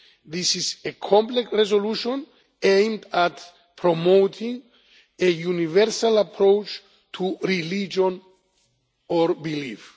This is a complex resolution aimed at promoting a universal approach to religion or belief.